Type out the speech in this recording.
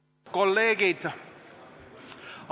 Lugupeetud kolleegid!